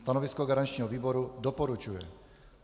Stanovisko garančního výboru: doporučuje.